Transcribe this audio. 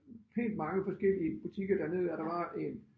Pænt mange forskellige butikker dernedad der var en